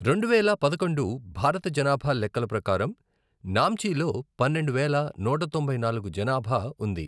రెండువేల పదకొండు భారత జనాభా లెక్కల ప్రకారం, నామ్చిలో పన్నెండు వేల నూట తొంభై నాలుగు జనాభా ఉంది.